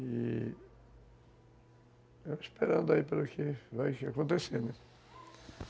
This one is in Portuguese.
E... Esperando aí para o que vai acontecer, né?